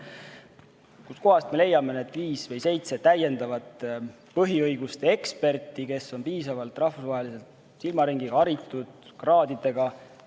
Kust kohast me leiame need viis või seitse täiendavat põhiõiguste eksperti, kes on piisavalt rahvusvahelise silmaringiga, haritud, kraadidega?